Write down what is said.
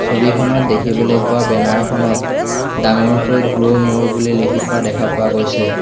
ছবিখনত দেখিবলৈ পোৱা বেনাৰ খনত ডাঙৰকৈ গ্ৰ' ম'ৰ বুলি লিখি থোৱা দেখা পোৱা গৈছে।